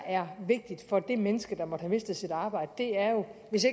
er vigtigt for det menneske der måtte have mistet sit arbejde er jo at hvis